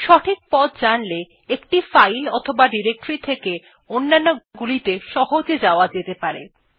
সঠিক পথ জানলে একটি ফাইল অথবা ডিরেক্টরী থেকে অন্যান্য গুলি সহজে যাওয়া যেতে পারে